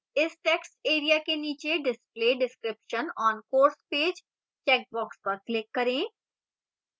इस text area के नीचे display description on course page checkbox पर click करें